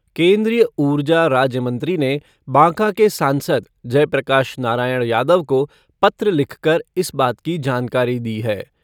केन्द्रीय ऊर्जा राज्यमंत्री ने बाँका के सांसद जयप्रकाश नारायण यादव को पत्र लिखकर इस बात की जानकारी दी है।